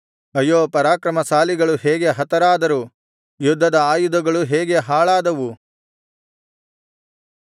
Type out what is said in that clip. ಅಯ್ಯೋ ಪರಾಕ್ರಮಶಾಲಿಗಳು ಹೇಗೆ ಹತರಾದರು ಯುದ್ಧದ ಆಯುಧಗಳು ಹೇಗೆ ಹಾಳಾದವು